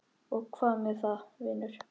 Og hvað með það, vinur?